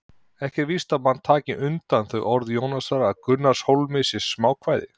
Ekki er víst að menn taki undir þau orð Jónasar að Gunnarshólmi sé smákvæði!